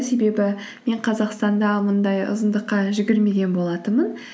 себебі мен қазақстанда мұндай ұзындыққа жүгірмеген болатынмын